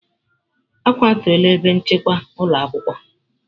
A kwatuola ebe nchekwa ụlọ akwụkwọ.